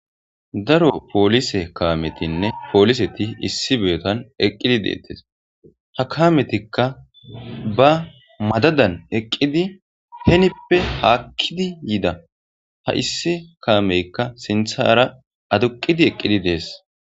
Daro poolise kaametinne pooliseti issi beetan eqqidi deettes ha kametikka ba madadan eqqidi henippe haakkidi yida ha issi kaameykka sinthara aduqidi eqqidi dees